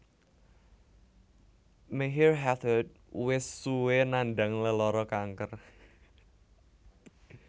Maher Hathout wis suwé nandhang lelara kanker